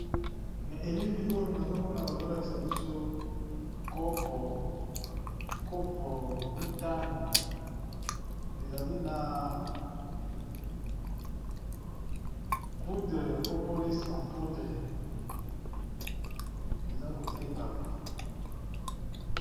Na elili oyo nazo mona bazo lakisa biso kopo, kopo mitano ezali na poudre propolis en poudre eza ko tekama.